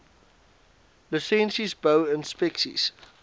lisensies bou inspeksies